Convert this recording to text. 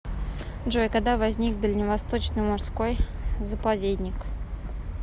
джой когда возник дальневосточный морской заповедник